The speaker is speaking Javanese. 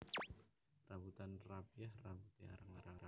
Rambutan rapiah rambuté arang arang